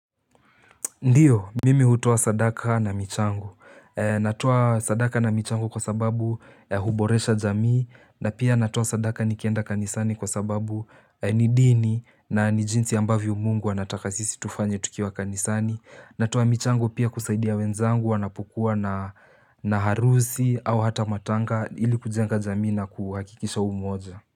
Ndiyo, mimi hutoa sadaka na michango. Natuwa sadaka na michangu kwa sababu huboresha jamii. Na pia natoa sadaka nikienda kanisani kwa sababu ni dini na ni jinsi ambavyo Mungu anataka sisi tufanye tukiwa kanisani. Natoa michango pia kusaidia wenzangu wanapokuwa na na harusi au hata matanga ili kujenga jamii na kuhakikisha umoja.